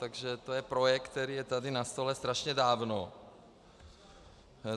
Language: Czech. Takže to je projekt, který je tady na stole strašně dávno.